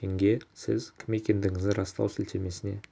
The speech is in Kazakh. тенге сіз кім екендігіңізді растау сілтемесіне